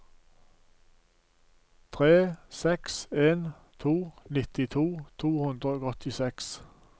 tre seks en to nittito to hundre og åttiseks